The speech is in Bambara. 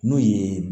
N'o ye